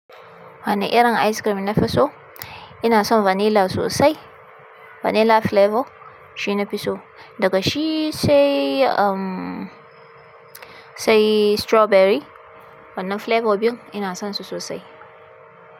Wani irin ice cream na fi so, ina son vanilla sosai. Vanilla flavor shi nafi so, daga shi sai, sai strawberry. Wannan flavor biyun ina son su sosai.